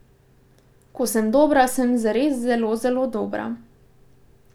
Ko sem dobra, sem zares zelo, zelo dobra.